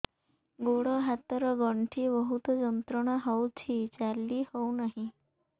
ଗୋଡ଼ ହାତ ର ଗଣ୍ଠି ବହୁତ ଯନ୍ତ୍ରଣା ହଉଛି ଚାଲି ହଉନାହିଁ